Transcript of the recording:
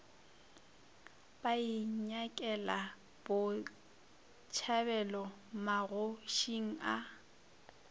ba inyakela botšhabelo magošing a